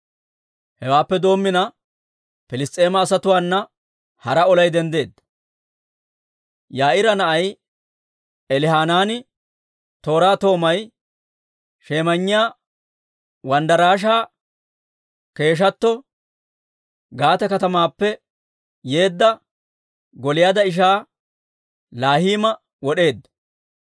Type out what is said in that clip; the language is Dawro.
Hewaappe doomina Piliss's'eema asatuwaana hara olay denddeedda; Yaa'iira na'ay Elihanaani tooraa toomay shemayinniyaa wanddarashaa keeshshatto, Gaate katamaappe yeedda Gooliyaada ishaa Laahima wod'eedda.